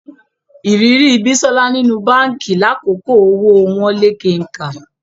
Ìrírí Bísọ́lá nínú báǹkì lákòókò owó wọ́n lé kenkà